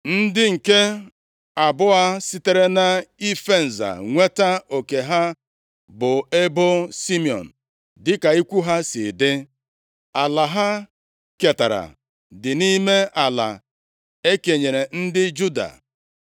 Ndị nke abụọ sitere nʼife nza nweta oke ha bụ ebo Simiọn dịka ikwu ha si dị. Ala ha ketara dị nʼime ala e kenyere ndị Juda.